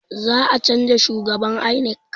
Za a canza shhugaban INEC